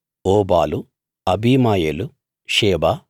Obal Abimael Sheba